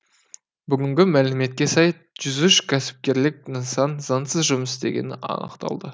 бүгінгі мәліметке сай жүз үш кәсіпкерлік нысан заңсыз жұмыс істегені анықталды